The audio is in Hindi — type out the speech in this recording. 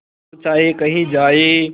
तू चाहे कही जाए